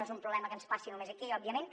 no és un problema que ens passi només aquí òbviament